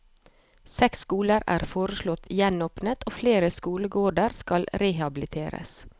Seks skoler er foreslått gjenåpnet og flere skolegårder skal rehabiliteres.